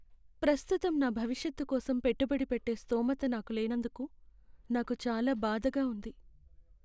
ప్రస్తుతం నా భవిష్యత్తు కోసం పెట్టుబడి పెట్టే స్థోమత నాకు లేనందుకు నాకు చాలా బాధగా ఉంది.